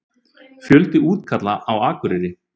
Fjöldi útkalla á Akureyri